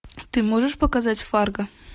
ты можешь показать фарго